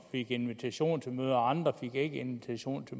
invitation til mødet og andre fik ikke invitation til